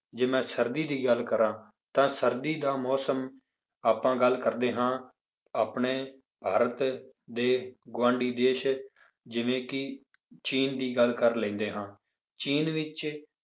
ਜੇ ਮੈਂ ਸਰਦੀ ਦੀ ਗੱਲ ਕਰਾਂ ਤਾਂ ਸਰਦੀ ਦਾ ਮੌਸਮ ਆਪਾਂ ਗੱਲ ਕਰਦੇ ਹਾਂ ਆਪਣੇ ਭਾਰਤ ਦੇ ਗੁਆਂਢੀ ਦੇਸ ਜਿਵੇਂ ਕਿ ਚੀਨ ਦੀ ਗੱਲ ਕਰ ਲੈਂਦੇ ਹਾਂ ਚੀਨ ਵਿੱਚ